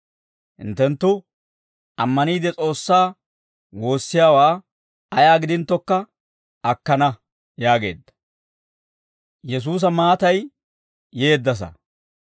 hinttenttu ammaniide S'oossaa woossiyaawaa ayaa gidinttokka akkana» yaageedda. Balasiyaa Mitsaa